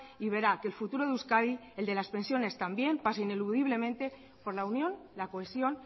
y verá que el futuro de euskadi el de las pensiones también pasa ineludiblemente por la unión la cohesión